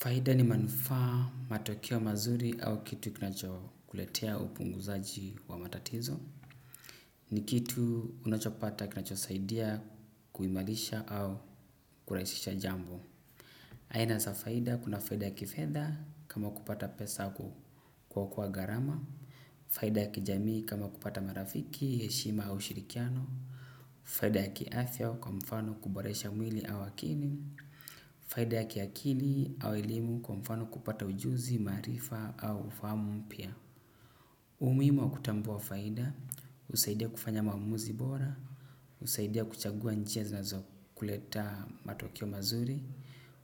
Faida ni manufaa, matokeo mazuri, au kitu kinachokuletea upunguzaji wa matatizo. Ni kitu unachopata kinachosaidia kuimarisha au kurahisisha jambo. Aina za faida: kuna faida ya kifedha, kama kupata pesa au kuokoa gharama. Faida ya kijamii kama kupata marafiki, heshima au shirikiano. Faida ya kiafya kwa mfano kuboresha mwili au akili. Faida ya kiakili au elimu, kwa mfano kupata ujuzi, maarifa au ufahamu mpya. Umuhimu wa kutambua faida husaidia kufanya maamuzi bora. Husaidia kuchagua njia zinazo kuleta matokeo mazuri.